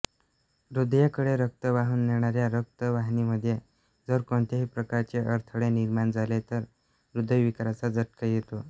हृदयाकडे रक्त वाहून नेणाऱ्या रक्तवाहिनीमध्ये जर कोणत्याही प्रकारचे अडथळे निर्माण झाले तर हृदयविकाराचा झटका येतो